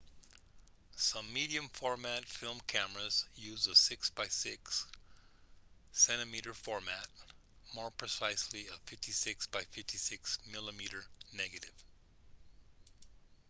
some medium-format film cameras use a 6 by 6 cm format more precisely a 56 by 56 mm negative